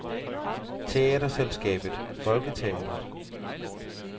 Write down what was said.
Teaterselskabet Folketeatret